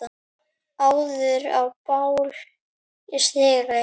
áður á bál stigi